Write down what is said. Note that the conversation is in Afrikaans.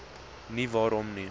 nie waarom nie